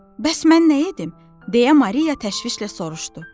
Bəs mən nə edim, deyə Maria təşvişlə soruşdu.